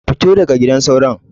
Fito da gidan sauron.